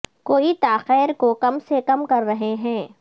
کوئی تاخیر کو کم سے کم کر رہے ہیں